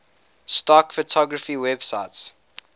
stock photography websites